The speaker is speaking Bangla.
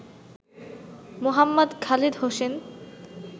মোহাম্মদ খালেদ হোসেন